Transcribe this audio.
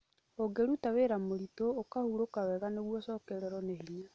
Ũngĩruta wĩra mũritũ, ũkahurũka wega nĩguo ũcokererũo nĩ hinya.